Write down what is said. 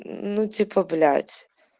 ну типа блять